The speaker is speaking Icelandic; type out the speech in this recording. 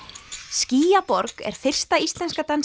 skýjaborg er fyrsta íslenska